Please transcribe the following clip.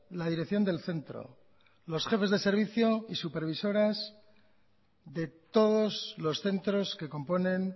la dirección del centro los jefes de servicio y supervisoras de todos los centros que componen